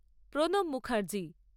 Pranab Mukherjee